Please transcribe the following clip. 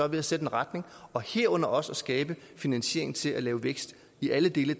ved at sætte en retning og herunder også at skabe finansiering til at lave vækst i alle dele